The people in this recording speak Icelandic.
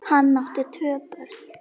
Hann átti tvö börn.